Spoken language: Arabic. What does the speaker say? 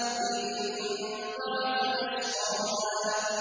إِذِ انبَعَثَ أَشْقَاهَا